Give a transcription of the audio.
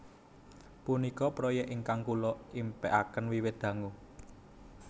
Punika proyèk ingkang kula impèkaken wiwit dangu